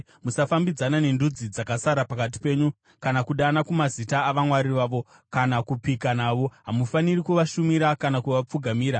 Musafambidzana nendudzi dzakasara pakati penyu, kana kudana kumazita avamwari vavo, kana kupika navo. Hamufaniri kuvashumira, kana kuvapfugamira.